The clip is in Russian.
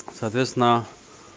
соответственно